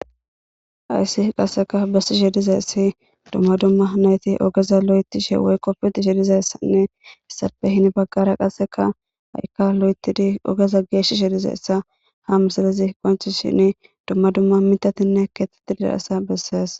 ayssi qasseka bessi shediza issi dumma dumma nayti ogeza lo7etishe woy qoppiti shedizayssanne issape hini baggara qasseka ha7ikka lo7etidi ogeza geeshi shediza essa ha misilizi qonchi shin dumma dumma mitatinne keetteti dirasa bessees